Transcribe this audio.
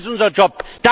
Das ist unser Job!